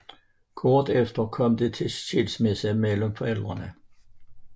Kort efter kom det til skilsmisse mellem forældrene